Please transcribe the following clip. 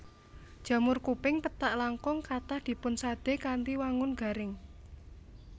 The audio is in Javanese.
Jamur kuping pethak langkung kathah dipunsadé kanthi wangun garing